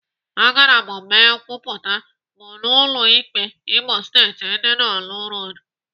Agara m mee nkwupụta m n'ụlọ ikpe Imo Steeti dị n'orlu Road.